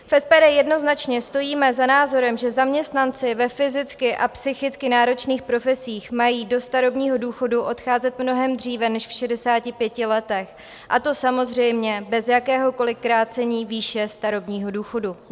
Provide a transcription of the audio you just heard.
V SPD jednoznačně stojíme za názorem, že zaměstnanci ve fyzicky a psychicky náročných profesích mají do starobního důchodu odcházet mnohem dříve než v 65 letech, a to samozřejmě bez jakéhokoli krácení výše starobního důchodu.